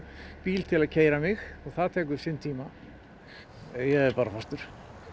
bíl til að keyra mig og það tekur sinn tíma ég er bara fastur